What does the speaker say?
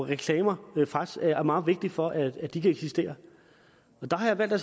reklamer faktisk er meget vigtige for at de kan eksistere der har jeg valgt at